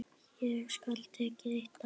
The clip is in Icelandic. Hér skal tekið eitt dæmi.